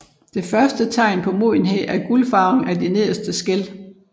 Det første tegn på modenhed er gulfarvning af de nederste skæl